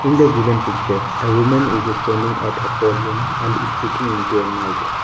in the given picture a woman is standing at a podium and speaking into a mic.